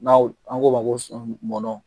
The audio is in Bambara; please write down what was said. N'aw an k'o ma ko kumɔdɔn